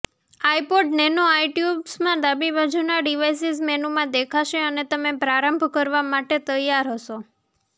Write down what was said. iPod nano આઇટ્યુન્સમાં ડાબી બાજુનાં ડિવાઇસીસ મેનૂમાં દેખાશે અને તમે પ્રારંભ કરવા માટે તૈયાર હશો